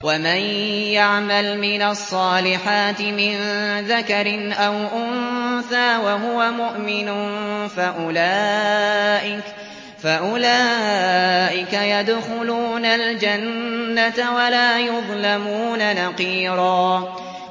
وَمَن يَعْمَلْ مِنَ الصَّالِحَاتِ مِن ذَكَرٍ أَوْ أُنثَىٰ وَهُوَ مُؤْمِنٌ فَأُولَٰئِكَ يَدْخُلُونَ الْجَنَّةَ وَلَا يُظْلَمُونَ نَقِيرًا